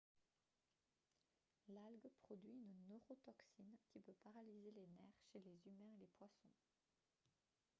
l'algue produit une neurotoxine qui peut paralyser les nerfs chez les humains et les poissons